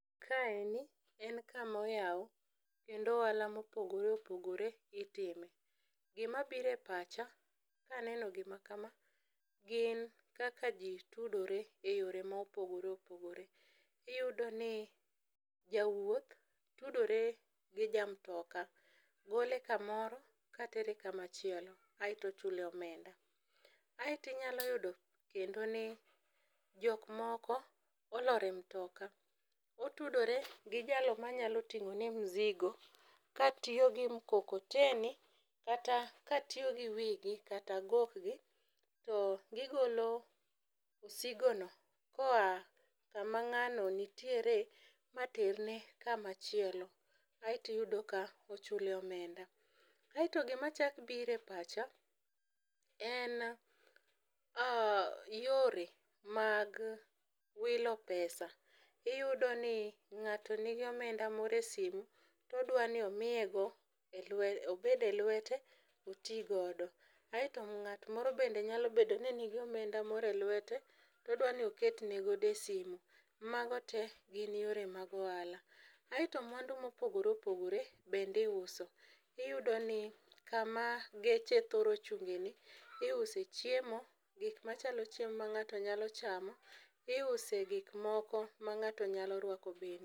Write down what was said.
Kaeni en kamoyaw kendo ohala mopogore opogore itime. gimabiro e pacha kaneno gimakama, gin kaka ji tudore e yore mopogore opogore. Iyudoni jawuoth tudore gi ja mtoka, gole kamoro katere kamachielo, aeto ochule omenda, Aeto inyalo yudo kendo ni jokmoko olor e mtoka, otudore gi jalo manyalo ting'one mzigo katiyo gi mkokoteni kata katiyo gi wigi kata gokgi, to gigolo msigono koa kama ng'ano nitiere materne kamachilo aeto iyudo ka ochule omenda. Aeto gimachako biro e pacha en yore mag wilo pesa. Iyudo ni ng'ato nigi omenda moro e simu, todwani obede lwete oti godo. Aaeto ng'at moro bende nyalo bedo ni nigi omenda moro e lwete to odwa ni oket ne go e simu. Mago te gin yore mag ohala, aeto mwandu mopogore opogore bende iuso. Iyudo ni kama geche thoro chung'eni, iuse chiemo, gik machalo chiemo ma ng'ato nyalo chamo. Iuse gik moko ma ng'ato nyalo rwako bende.